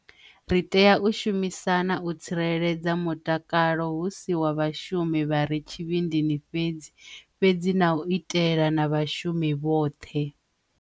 Ri tea u shumisana u tsireledza mutakalo hu si wa vhashumi vha re tshivhindini fhedzi, fhedzi na u itela na vhashumi vhoṱhe.